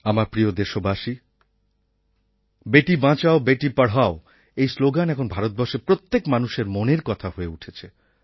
আমার প্রিয় দেশবাসী বেটি বাঁচাও বেটি পড়াও এই শ্লোগান এখন ভারতবর্ষের প্রত্যেক মানুষের মনের কথা হয়ে উঠেছে